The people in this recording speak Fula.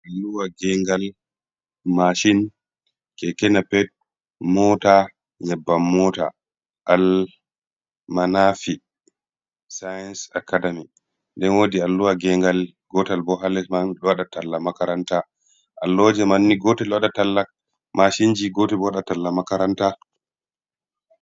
Alluwa gengal mashin keke napep mota nyabban mota, al manafi since acadami nden wodi alluwa gengal gotal bo ha les man ɗo waɗa talla makaranta, alluhaji manni gotel ɗo waɗa talla mashinji gotel bo waɗa talla makaranta.